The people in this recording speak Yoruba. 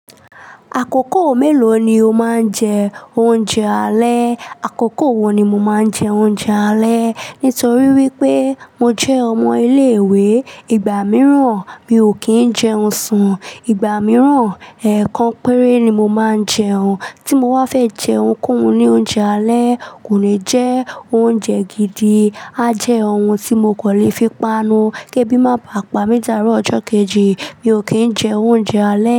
Àkókò mélòó ni o máa ń jẹ oúnjẹ alẹ́? Àkókò wo ni mo máa ń jẹ oúnjẹ alẹ́? Nítorí wípé mo jẹ́ ọmọ ilé ìwé, ìgbà mìíràn mi ò kì í jẹun sùn, ìgbà mìíràn, ẹ̀ẹ̀kan péré ni mo máa ń jẹun. Tí mo wá fẹ́ jẹun kún un ní oúnjẹ alẹ́, kò ní jẹ́ oúnjẹ gidi. A jẹ́ ohun tí mo kò lè fi panu. Kébí máa pami di aaro ọjọ́ kejì, mi ò kì í jẹ oúnjẹ alẹ́.